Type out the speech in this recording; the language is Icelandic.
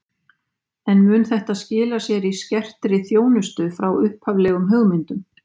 En mun þetta skila sér í skertri þjónustu frá upphaflegum hugmyndum?